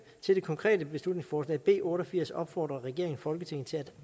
det konkrete beslutningsforslag b otte og firs opfordrer regeringen folketinget til at